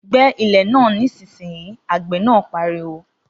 Gbẹ́ ilẹ̀ náà nísinsìnyí, Àgbẹ̀ náà pariwo